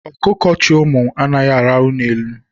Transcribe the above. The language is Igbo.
Ọkụkọ chị ụmụ anaghị araha n'elu.